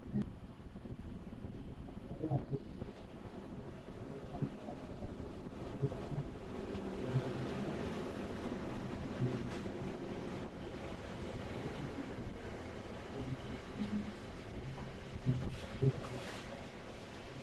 howshan aad bay muhim utahay xoolaa dhaqashada a ama dadka kale si ay meel katiin oga furtan ama xoolahoda kudhaqdan si ay udhirigalyaan ama aya cafimaadkooda kafurtaan ama noloshooda wax ooga qabsadaan si ay beri kamaalin noloshooda wax oogu qabsadan